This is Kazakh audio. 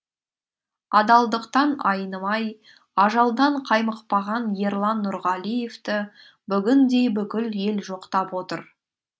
адалдықтан айнымай ажалдан қаймықпаған ерлан нұрғалиевті бүгін де бүкіл ел жоқтап отыр